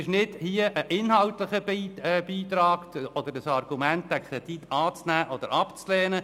Das ist kein inhaltlicher Beitrag oder ein Argument, um den Kredit anzunehmen oder abzulehnen.